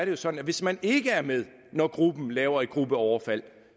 jo sådan at hvis man ikke er med når gruppen laver et gruppeoverfald